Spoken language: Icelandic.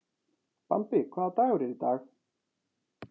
Bambi, hvaða dagur er í dag?